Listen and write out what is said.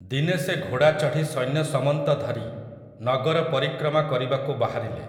ଦିନେ ସେ ଘୋଡ଼ା ଚଢ଼ି ସୈନ୍ୟସମନ୍ତ ଧରି, ନଗରପରିକ୍ରମା କରିବାକୁ ବାହାରିଲେ ।